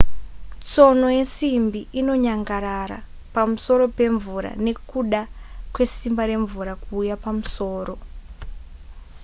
tsono yesimbi inonyangarara pamusoro pemvura nekuda kwesimba remvura kuuya pamusoro